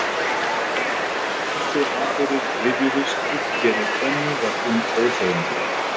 Þegar þessir atburðir rifjuðust upp fyrir ömmu var hún óseðjandi.